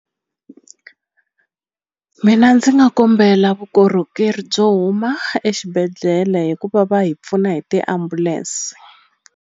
Mina ndzi nga kombela vukorhokeri byo huma exibedhlele hikuva va hi pfuna hi tiambulense.